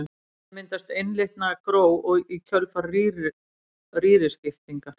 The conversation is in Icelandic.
Í henni myndast einlitna gró í kjölfar rýriskiptingar.